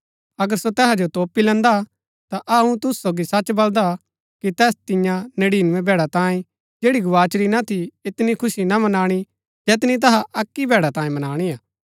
अगर सो तैहा जो तोपी लैन्दा ता अऊँ तुसु सोगी सच बलदा कि तैस तियां नड़ीनबैं भैड़ा तांयें जैड़ी गवाचुरी ना थी ऐतनी खुशी ना मनाणी जैतनी तैहा अक्की भैड़ा तांयें मनाणी हा